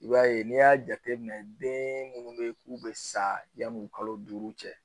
I b'a ye n'i y'a jateminɛ den minnu bɛ k'u bɛ sa yanni kalo duuru cɛ